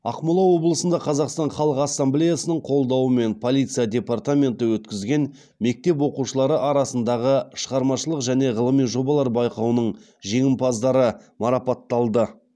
ақмола облысында қазақстан халқы ассамблеясының қолдауымен полиция департаменті өткізген мектеп оқушылары арасындағы шығармашылық және ғылыми жобалар байқауының жеңімпаздары марапатталды